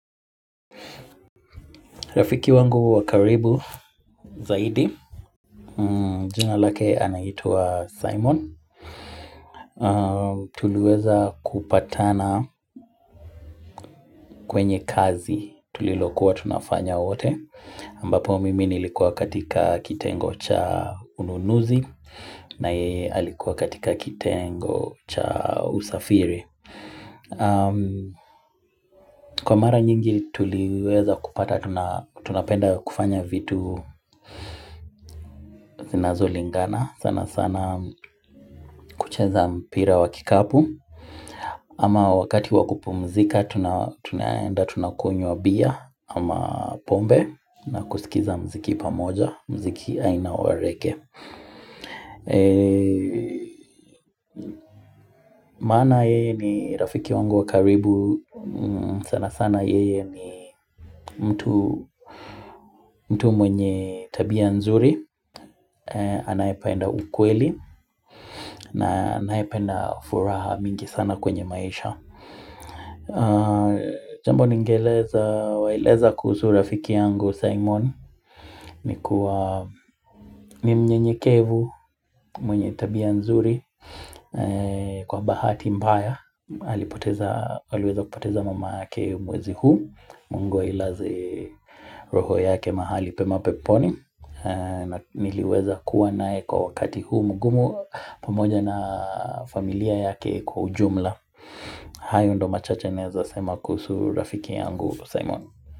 Rafiki wangu wa karibu zaidi, jina lake anaitwa Simon Tuliweza kupatana kwenye kazi tulilokuwa tunafanya wote ambapo mimi nilikuwa katika kitengo cha ununuzi na yeye alikuwa katika kitengo cha usafiri Kwa mara nyingi tuliweza kupata, tunapenda kufanya vitu zinazolingana sana sana kucheza mpira wa kikapu ama wakati wa kupumzika Tunaenda tunakunywa bia ama pombe na kusikiza mziki pamoja mziki aina wa rege Mana yeye ni rafiki wangu wa karibu sana sana yeye ni mtu mwenye tabia nzuri Anaependa ukweli na anaependa furaha mingi sana kwenye maisha jambo ningewaeleza kuhusu rafiki yangu Simon ni kuwa ni mnyenyekevu mwenye tabia nzuri kwa bahati mbaya aliweza kupoteza mama yake mwezi huu Mungu ailaze roho yake mahali pema peponi Niliweza kuwa naye kwa wakati huu mgumu pamoja na familia yake kwa ujumla hayo ndo machache naeza sema kuhusu rafiki yangu Simon.